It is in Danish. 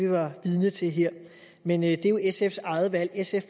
var vidne til men det er jo sfs eget valg sf